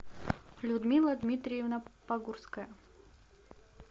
людмила дмитриевна погурская